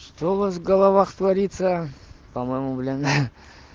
что у вас в головах творится по-моему блин